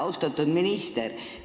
Austatud minister!